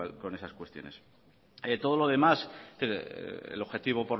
con esas cuestiones todo lo demás el objetivo